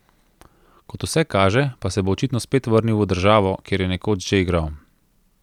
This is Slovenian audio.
Kot vse kaže pa se bo očitno spet vrnil v državo, kjer je nekoč že igral.